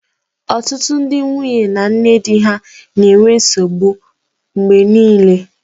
Ọtụtụ ndị nwunye na-enwe nsogbu na nne di ha mgbe niile